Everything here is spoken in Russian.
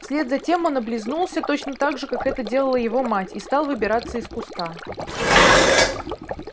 вслед за тем он облизнулся точно так же как это делала его мать и стал выбираться из куста